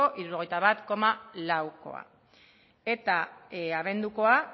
hirurogeita bat koma laukoa eta abendukoa